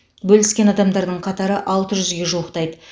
бөліскен адамдардың қатары алты жүзге жуықтайды